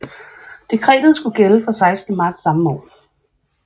Dekretet skulle gælde fra 16 marts samme år